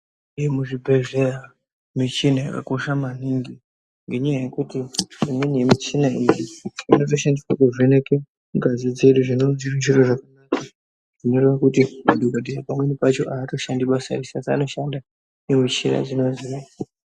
Yemuzvibhedhlera michina yakakosha maningi ngenyaya yekuti imweni yemuchina iyi inoshandiswa kuvheneka ngazi redu zvinova zviro zvakanaka zvoreva kuti pamweni pacho madhokodheya atoshandi basa anoshanda nemichina idzona.